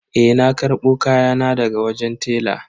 Eh na karbo kayana daga wajen tela.